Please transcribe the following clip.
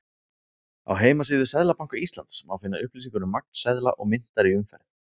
Á heimasíðu Seðlabanka Íslands má finna upplýsingar um magn seðla og myntar í umferð.